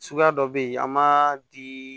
Suguya dɔ bɛ yen an m'a di